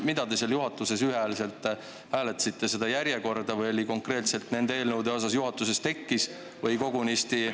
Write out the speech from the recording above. Või mida te seal juhatuses ühehäälselt: kas seda järjekorda või konkreetselt nende eelnõude puhul juhatuses tekkis?